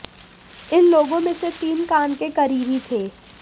इन लोगों में से तीन कान के करीबी थे